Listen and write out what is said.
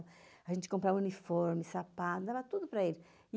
A gente comprava uniformes, sapatos, dava tudo para eles.